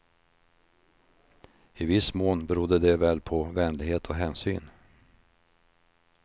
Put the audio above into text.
I viss mån berodde det väl på vänlighet och hänsyn.